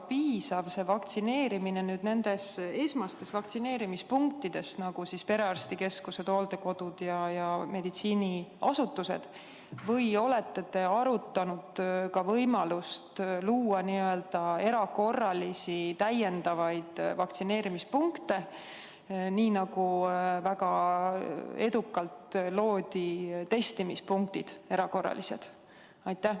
Ja kas vaktsineerimine nendes esmastes vaktsineerimispunktides, nagu hooldekodud, perearstikeskused ja muud meditsiiniasutused, on piisav või olete te arutanud ka võimalust luua erakorralisi täiendavaid vaktsineerimispunkte, nii nagu väga edukalt loodi erakorralised testimispunktid?